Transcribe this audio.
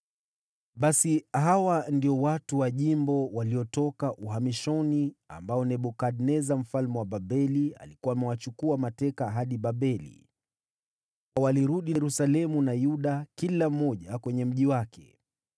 Basi hawa ndio watu wa jimbo waliotoka uhamishoni, ambao Nebukadneza mfalme wa Babeli alikuwa amewachukua mateka hadi Babeli (walirudi Yerusalemu na Yuda, kila mmoja kwenye mji wake,